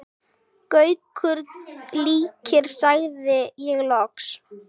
Gaukur líkir, sagði ég loks.